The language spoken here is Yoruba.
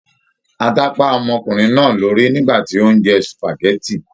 Ata pá ọmọkùnrin náà lórí nígbàtí o n jẹ supágẹ̀tì.